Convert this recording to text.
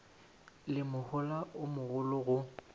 le mohola o mogolo go